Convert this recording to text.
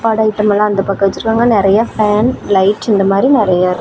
சாப்பாடு ஐட்டம்லா அந்த பக்கோ வெச்சுருக்காங்க நெறையா பேன் லைட் இந்த மாரி நெறையா.